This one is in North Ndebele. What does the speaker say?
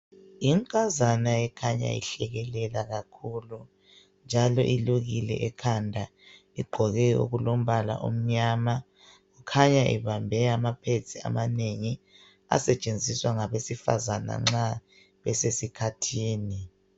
Inkazana ikhanya ihlekelela kakhulu njalo ilukile ekhanda, iqgoke okulombala omyama, ikhanya ibambe amapads amanengi asetshenziswa ngabesifazana nxa besesikhathini.